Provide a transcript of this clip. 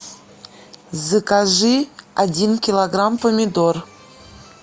закажи один килограмм помидор